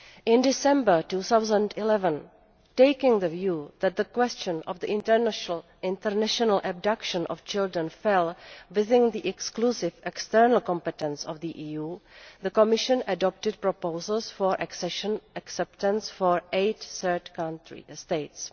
In December 2011, taking the view that the question of the international abduction of children fell within the exclusive external competence of the EU, the Commission adopted proposals for accession acceptance for eight third country states.